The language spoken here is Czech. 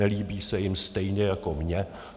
Nelíbí se jim stejně jako mně.